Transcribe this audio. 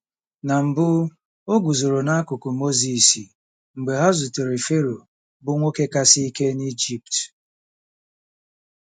Na mbụ, o guzoro n'akụkụ Mozis mgbe ha zutere Fero, bụ́ nwoke kasị ike n'Ijipt.